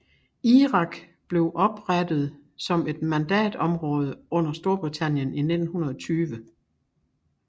Irak blev oprætet som et mandatområde under Storbritannien i 1920